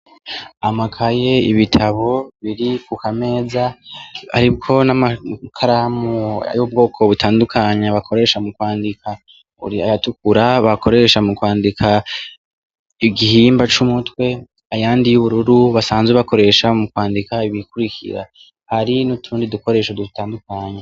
Amakaye, ibitabo biri ku kameza aribwo n'amakaramu y'ubwoko butandukanye bakoresha mu kwandika buri ayatukura bakoresha mu kwandika igihimba c'umutwe ayandi y'ubururu basanzwe bakoresha mu kwandika ibikurikira hari n'utundi dukoresho dutandukanye.